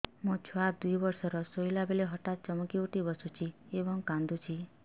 ମୋ ଛୁଆ ଦୁଇ ବର୍ଷର ଶୋଇଲା ବେଳେ ହଠାତ୍ ଚମକି ଉଠି ବସୁଛି ଏବଂ କାଂଦୁଛି